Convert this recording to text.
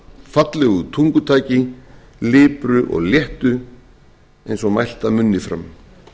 fallegu tungutaki lipru og léttu eins og mælt af munni fram